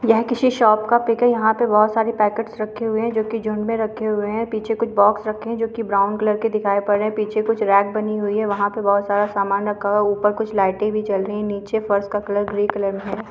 यह किसी शॉप का पिक है यहाँ पे बहोत सारी पैकेटस रखी हुई है जो कि झुण्ड मे रखे हुए है पीछे कुछ बॉक्स रखे है जोकि ब्राउन कलर के दिखाई पढ़ रहे है पीछे कुछ रैक बनी हुई है वहाँ पर बहोत सारा सामान रखा हुआ है ऊपर कुछ लाइटे भी जल रही है नीचे फर्श का कलर ग्रे कलर में है।